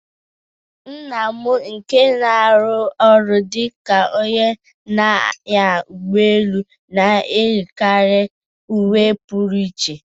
Nna m nke na-arụ ọrụ dị ka onye na-anya ụgbọ elu na-eyikarị uwe Puru iche.